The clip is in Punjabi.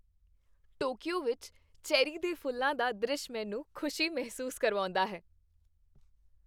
ਟੋਕੀਓ ਵਿੱਚ ਚੈਰੀ ਦੇ ਫੁੱਲਾਂ ਦਾ ਦ੍ਰਿਸ਼ ਮੈਨੂੰ ਖੁਸ਼ੀ ਮਹਿਸੂਸ ਕਰਵਾਉਂਦਾ ਹੈ।